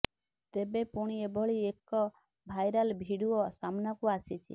ତେବେ ପୁଣି ଏଭଳି ଏକ ଭାଇରାଲ ଭିଡିଓ ସାମ୍ନାକୁ ଆସିଛି